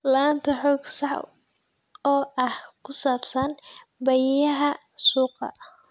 La'aanta xog sax ah oo ku saabsan baahiyaha suuqa.